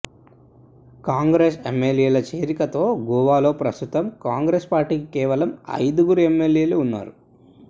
కాంగ్రెస్ ఎమ్మెల్యేల చేరికతో గోవాలో ప్రస్తుతం కాంగ్రెస్ పార్టీకి కేవలం ఐదుగురు ఎమ్మెల్యేలు ఉన్నారు